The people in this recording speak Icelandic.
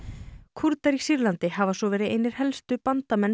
Kúrdar í Sýrlandi hafa svo verið einir helstu bandamenn